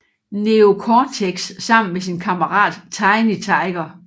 Neo Cortex sammen med sin kammerat Tiny Tiger